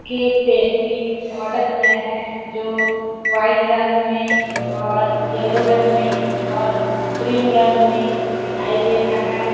Cake pastry order किया है जो वाइट रंग में और येलो रंग में और क्रीम रंग में दिखाई दे रहा है। .